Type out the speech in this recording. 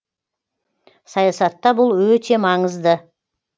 саясатта бұл өте маңызды